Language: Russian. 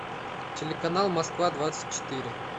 телеканал москва двадцать четыре